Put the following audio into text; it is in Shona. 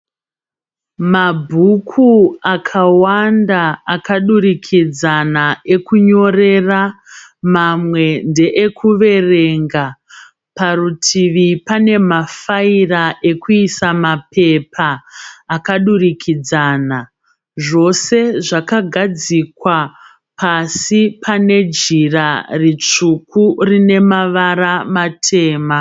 Mabhuku akawanda akadurikidzana ekunyorera mamwe ndeekuverenga. Parutivi pane mafaira ekuisa mapepa akadurikidzana. Zvose zvakagadzikwa pasi pane jira ritsvuku rine mavara matema.